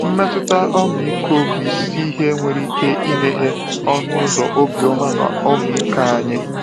Mmetụta ọmịiko bụ isi ihe nwere ike imeghe ọnụ ụzọ obiọma na ọmịiko anyị.